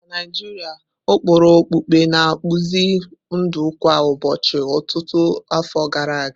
Na Naijiria, ụkpụrụ okpukpe na-akpụzi ndụ kwa ụbọchị ọtụtụ afọ gara aga.